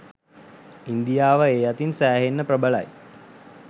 ඉන්දියාව ඒ අතින් සෑහෙන්න ප්‍රබල යි.